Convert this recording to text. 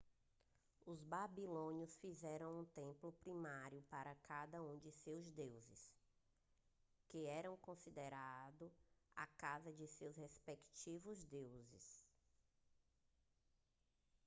os babilônios fizeram um templo primário para cada um de seus deuses que eram considerado a casa de seus respectivos deus